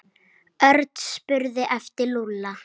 Örn spurði eftir Lúlla.